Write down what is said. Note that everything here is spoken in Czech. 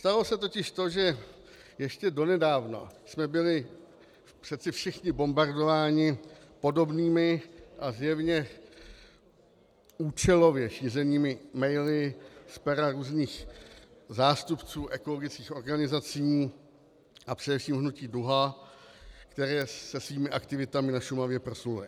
Stalo se totiž to, že ještě donedávna jsme byli přece všichni bombardováni podobnými a zjevně účelově šířenými maily z pera různých zástupců ekologických organizací a především Hnutí Duha, které je svými aktivitami na Šumavě proslulé.